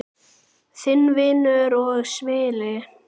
Þinn vinur og svili.